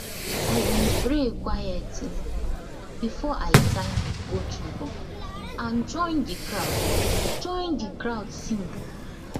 i been pray quietly before i tie my goat ribbon and join the crowd join the crowd sing